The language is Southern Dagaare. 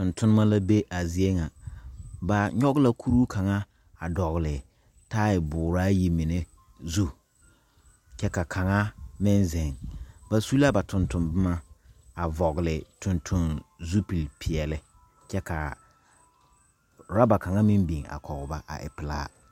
Tontonnema la be a zie ŋa ba nyogɔ la kuruu kaŋa a dɔgle taaya booraayi mine zu kyɛ ka kaŋa meŋ zeŋ ba su la ba tonton bomma a vɔgle tonton zupil peɛɛli kyɛ kaa rɔba kaŋa meŋ biŋ a kɔge ba a w pilaa.